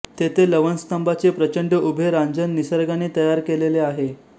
तेथे लवणस्तंभाचे प्रचंड उभे रांजण निसर्गाने तयार केलेले आहे